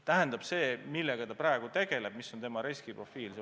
Tähendab see, millega ta praegu tegeleb, milline on tema riskiprofiil.